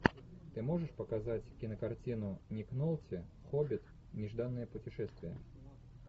ты можешь показать кинокартину ник нолти хоббит нежданное путешествие